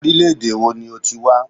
Orílẹ̀-èdè wo ni o ti wá?